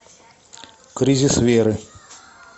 кризис веры